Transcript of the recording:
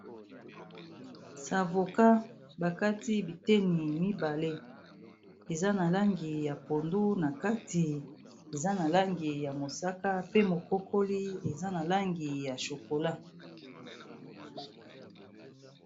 Savoka bakati biteni mibale eza na langi ya pondu na kati eza na langi ya mosaka pe mokokoli eza na langi ya chokola.